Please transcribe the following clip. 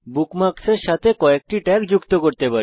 বুকমার্কের সাথে কয়েকটি ট্যাগ যুক্ত করতে পারেন